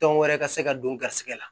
Tɔn wɛrɛ ka se ka don garisigɛ la